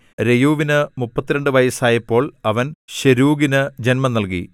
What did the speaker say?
രെയൂവിന് മുപ്പത്തിരണ്ട് വയസ്സായപ്പോൾ അവൻ ശെരൂഗിനു ജന്മം നൽകി